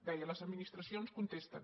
deia les administracions contesten